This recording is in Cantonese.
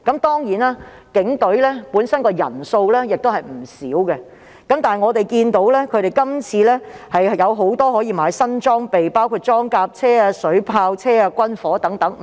當然，警隊本身的人員亦為數不少，但我們看到他們今次可以購置很多新裝備，包括裝甲車、水炮車和軍火。